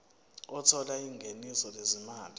othola ingeniso lezimali